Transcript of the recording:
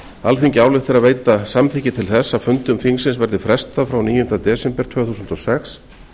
alþingi ályktar að veita samþykki til þess að fundum þingsins verði frestað frá níunda desember tvö þúsund og sex